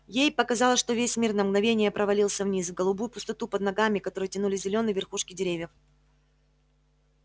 ей показалось что весь мир на мгновение провалился вниз в голубую пустоту под ногами к которой тянулись зелёные верхушки деревьев